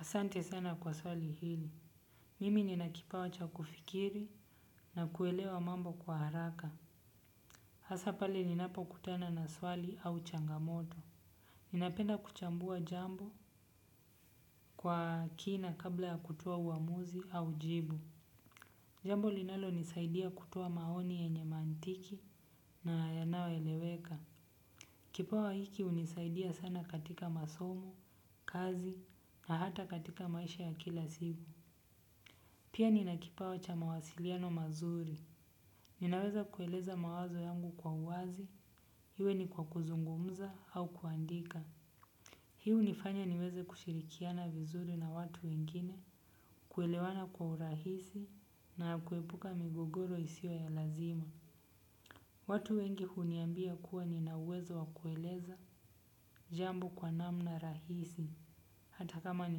Asante sana kwa swali hili. Mimi nina kipawa cha kufikiri na kuelewa mambo kwa haraka. Hasa pale ninapokutana na swali au changamoto. Ninapenda kuchambua jambo kwa kina kabla ya kutoa uamuzi au jibu. Jambo linalonisaidia kutoa maoni yenye maantiki na yanayoeleweka. Kipawa hiki hunisaidia sana katika masomo, kazi na hata katika maisha ya kila siku. Pia nina kipawa cha mawasiliano mazuri. Ninaweza kueleza mawazo yangu kwa uwazi, iwe ni kwa kuzungumza au kuandika. Hiu hunifanya niweze kushirikiana vizuri na watu wengine, kuelewana kwa urahisi na kuepuka migogoro isiyo ya lazima. Watu wengi huniambia kuwa nina uwezo wa kueleza jambo kwa namna rahisi, hata kama ni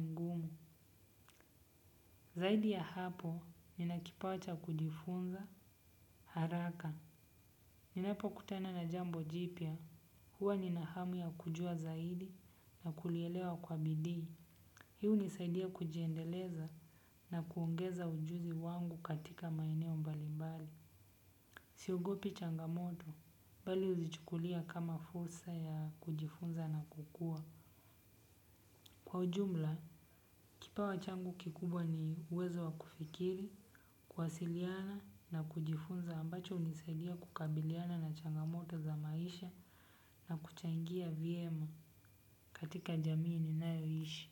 ngumu. Zaidi ya hapo, nina kipawa cha kujifunza, haraka. Ninapokutana na jambo jipya, huwa nina hamu ya kujua zaidi na kulielewa kwa bidii. Hii hunisaidia kujiendeleza na kuongeza ujuzi wangu katika maeneo mbalimbali. Siogopi changamoto bali huzichukulia kama fursa ya kujifunza na kukua. Kwa ujumla, kipawa changu kikubwa ni uwezo wa kufikiri, kuwasiliana na kujifunza ambacho hunisaidia kukabiliana na changamoto za maisha na kuchangia vyema katika jamii ninayoishi.